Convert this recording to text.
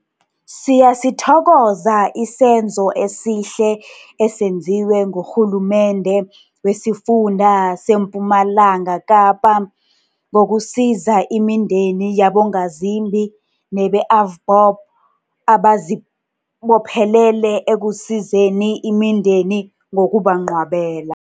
Siyasithokoza isenzo esihle esenziwe nguRhulumende wesiFunda sePumalanga Kapa ngokusiza imindeni yabongazimbi, nebe-AVBOB abazibophelele ekusizeni imindeni ngokubangcwabela.